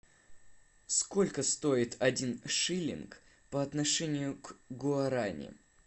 сколько стоит один шиллинг по отношению к гуарани